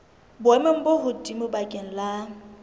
boemong bo hodimo bakeng la